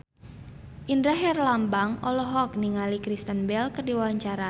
Indra Herlambang olohok ningali Kristen Bell keur diwawancara